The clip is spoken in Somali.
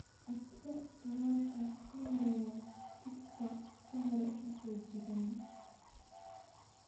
Codso tallaalka ka horreeya chicks ka hor intaysan jiran.